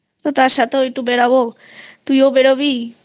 তার সাথেও একটু বেড়াবো তুইও বেরোবি